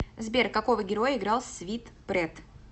сбер какого героя играл свит прет